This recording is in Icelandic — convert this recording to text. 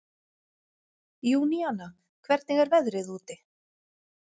Júníana, hvernig er veðrið úti?